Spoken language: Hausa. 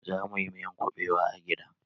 Za mu yi miyan kuɓewa a gida